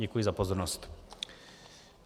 Děkuji za pozornost.